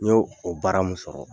N y'o o baara mun sɔrɔ,